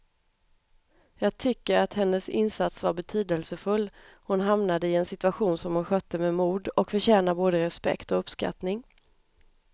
Jag tycker att hennes insats var betydelsefull, hon hamnade i en situation som hon skötte med mod och förtjänar både respekt och uppskattning.